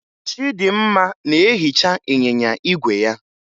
Chịdịmma na-ehicha ịnyịnya igwe ya